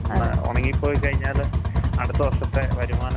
നീ അല്ലാതെ രക്ത പരിശോധന ഒന്നും നോക്കാറില്ലേ?